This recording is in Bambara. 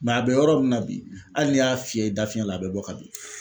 a bɛ yɔrɔ min na bi hali n'i y'a fiyɛ i da fiɲɛ la a bɛ bɔ ka bin.